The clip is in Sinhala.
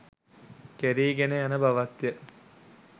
කෙරීගෙන යන බවත්ය.